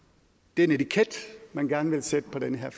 den etiket man gerne vil sætte på den her